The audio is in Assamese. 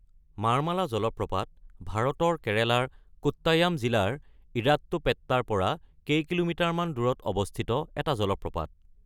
মাৰ্মালা জলপ্ৰপাত ভাৰতৰ কেৰেলাৰ কোট্টায়াম জিলাৰ ইৰাট্টুপেটাৰ পৰা কেইকিলোমিটাৰমান দূৰত অৱস্থিত এটা জলপ্ৰপাত।